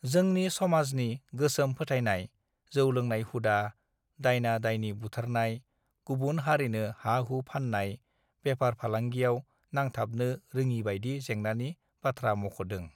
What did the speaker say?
जोंनि समाजनि गोसोम फोथायनाय जौ लोंनाय हुदा दाइना दाइनी बुथारनाय गुबुन हारिनो हा हु फाननाय बेफार फालांगियाव नांथाबनो रोङिबायदि जेंनानि बाथ्रा मख दों